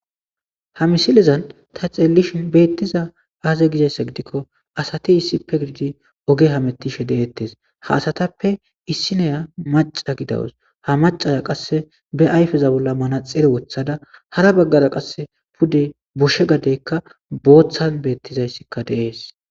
ha misilezan ta xeellishin beettiza aaza gizayssa gidikko asati issippe gidid oge hamettishe deettes ha asatappe issineya maca gidawus ha macaya qasse be ayifeza bolla manaxire wothada hara baggara qasse pude goshe gadeykka booththadan beettizayssikka deees